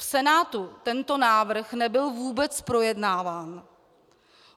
V Senátu tento návrh nebyl vůbec projednáván.